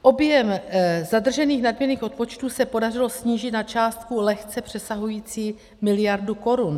Objem zadržených nadměrných odpočtů se podařilo snížit na částku lehce přesahující miliardu korun.